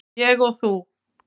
Ég og þú.